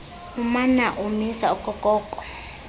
umana ukumisa okokoko